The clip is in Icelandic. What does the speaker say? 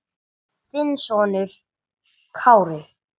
Þinn sonur Kári.